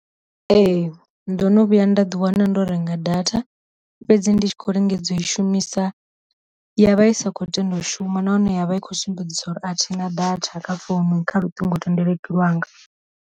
Ee ndo no vhuya nda ḓi wana ndo renga data fhedzi ndi tshi khou lingedza u i shumisa, ya vha isa khou tenda u shuma nahone ya vha i khou sumbedza uri athi na datha kha founu kha luṱingo thendeleki lwanga.